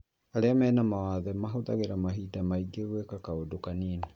Arĩa me mawathe mahũthagĩra mahinda maingĩ gwĩka kaũndũ kanini